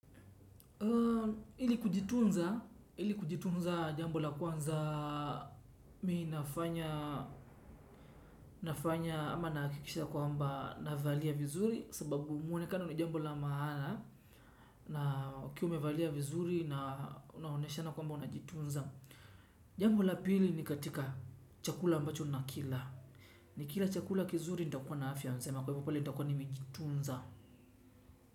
Ili kujitunza jambo la kwanza mi nafanya ama nahakikisha kwamba navalia vizuri sababu mwonekano ni jambo la maana na ukiwa umevalia vizuri unaonyeshana kwamba unajitunza. Jambo la pili ni katika chakula ambacho nakila. Nikila chakula kizuri nitakuwa na afya mjema kwa hivyo pale nitakuwa nimejitunza.